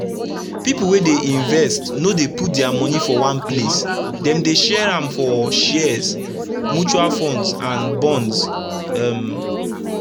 pipu wey dey invest no dey put dia moni for one place dem dey share am for shares mutual funds and bonds um